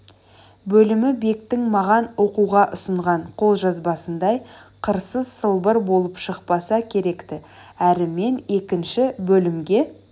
бөлімі бектің маған оқуға ұсынған қолжазбасындай қырсыз сылбыр болып шықпаса керек-ті әрі мен екінші бөлімге